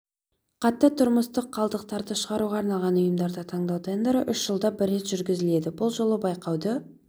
қатты тұрмыстық қалдықтарды шығаруға арналған ұйымдарды таңдау тендері үш жылда бір рет жүргізіледі бұл жолы байқауды